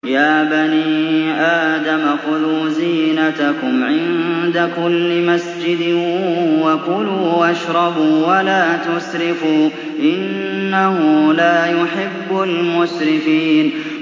۞ يَا بَنِي آدَمَ خُذُوا زِينَتَكُمْ عِندَ كُلِّ مَسْجِدٍ وَكُلُوا وَاشْرَبُوا وَلَا تُسْرِفُوا ۚ إِنَّهُ لَا يُحِبُّ الْمُسْرِفِينَ